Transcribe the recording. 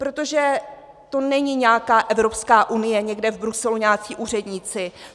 Protože to není nějaká Evropská unie, někde v Bruselu nějací úředníci.